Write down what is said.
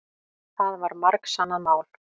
Það var margsannað mál.